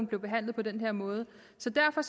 blev behandlet på den her måde så derfor